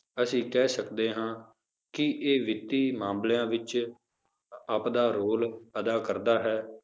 ਅਸੀਂ ਕਹਿ ਸਕਦੇ ਹਾਂ ਕਿ ਇਹ ਵਿੱਤੀ ਮਾਮਲਿਆਂ ਵਿੱਚ ਆਪਦਾ role ਅਦਾ ਕਰਦਾ ਹੈ।